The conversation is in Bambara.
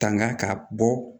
Tanga ka bɔ